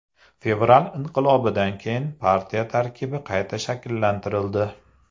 Fevral inqilobidan keyin partiya tarkibi qayta shakllantirildi.